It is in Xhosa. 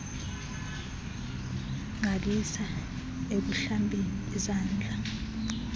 gqalisa ekuhlambeni izandla